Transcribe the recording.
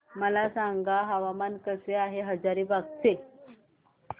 मला सांगा हवामान कसे आहे हजारीबाग चे